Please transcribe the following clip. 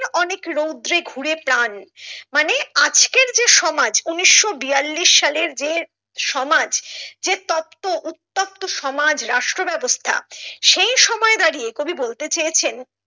অনেক রৌদ্রে ঘুরে প্রাণ মানে আজকের যে সমাজ উনিশশো বিয়াল্লিশ সালের যে সমাজ সে তপ্ত উত্তপ্ত সমাজ রাষ্ট্র ব্যাবস্থা সেই সময়ে দাঁড়িয়ে কবি বলতে চেয়েছেন।